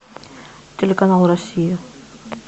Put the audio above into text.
телеканал россия